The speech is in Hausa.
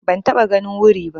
Ban taɓa ganin wuri ba.